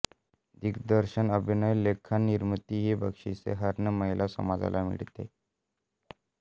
दिग्दर्शन अभिनय लेखन निर्मिती ही बक्षिसे हर्णे महिला समाजाला मिळत